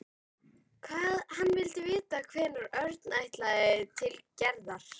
Hann vildi vita hvenær Örn ætlaði til Gerðar.